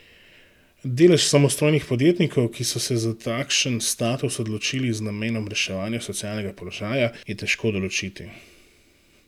Delež samostojnih podjetnikov, ki so se za takšen status odločili z namenom reševanja socialnega položaja, je težko določiti.